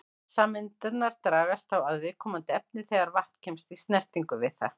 Vatnssameindirnar dragast þá að viðkomandi efni þegar vatn kemst í snertingu við það.